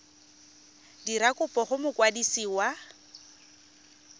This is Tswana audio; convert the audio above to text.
dira kopo go mokwadisi wa